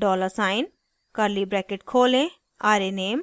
dollar sign curly bracket खोलें arrayname